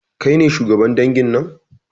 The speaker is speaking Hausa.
Kai ne shugaban dangin nan